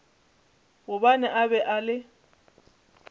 gobane a be a le